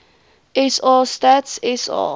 sa stats sa